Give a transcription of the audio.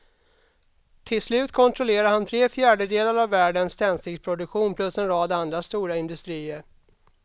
Till slut kontrollerade han tre fjärdedelar av världens tändsticksproduktion plus en rad andra stora industrier.